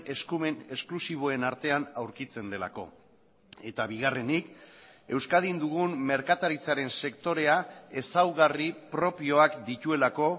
eskumen esklusiboen artean aurkitzen delako eta bigarrenik euskadin dugun merkataritzaren sektorea ezaugarri propioak dituelako